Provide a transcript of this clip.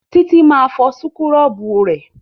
Títí máa fọ súkúrọ́bù